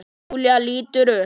Júlía lítur upp.